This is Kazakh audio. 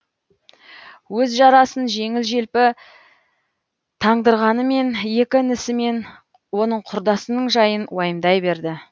өз жарасын жеңіл желпі таңдырғанымен екі інісі мен оның құрдасының жайын уайымдай берді